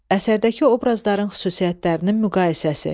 Əsərdəki obrazların xüsusiyyətlərinin müqayisəsi.